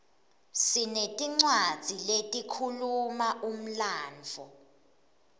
sinetincwadzi letikhuluma umlandvo